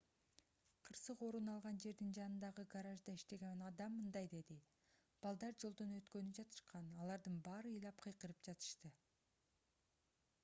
кырсык орун алган жердин жанындагы гаражда иштеген адам мындай деди балдар жолдон өткөнү жатышкан алардын баары ыйлап кыйкырып жатышты